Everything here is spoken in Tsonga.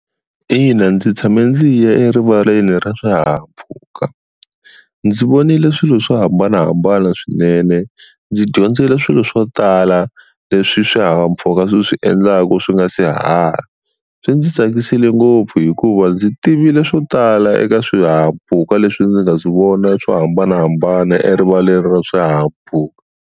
Ina ndzi tshame ndzi ya erivaleni ra swihahampfhuka, ndzi vonile swilo swo hambanahambana swinene ndzi dyondzile swilo swo tala leswi swihahampfhuka swi swi endlaka swi nga si haha. Swi ndzi tsakisile ngopfu hikuva ndzi tivile swo tala eka swihahampfhuka leswi ndzi nga swi vona swo hambanahambana erivaleni ra swihahampfhuka.